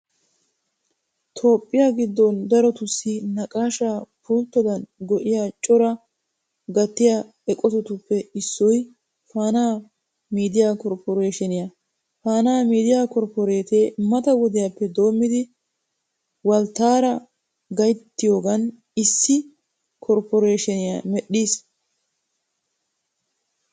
Toophphiya giddon darotussi naqaashaa pulttidan go"iya coraa gattiya eqotatuooe issoy faanaa miidiya korpporeeshiniya. Faanaa miidiya korpporeetee mata wodiyappe doommidi walttaara gayttiyogan issi korpporeeshiniya mehdhiis.